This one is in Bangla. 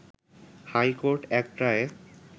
হাই কোর্ট এক রায়ে